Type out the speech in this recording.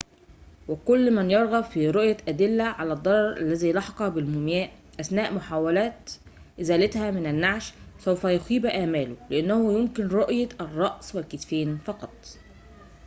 وكل من يرغب في رؤية أدلة على الضرر الذي لحق بالمومياء أثناء محاولات إزالتها من النعش سوف يخيب أمله لأنه يمكن رؤية الرأس والكتفين فقط